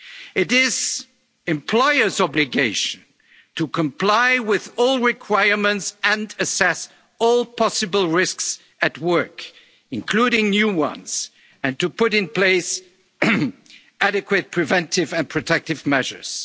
responsibility. It is the employer's obligation to comply with all requirements and assess all possible risks at work, including new ones, and to put in place adequate preventive and protective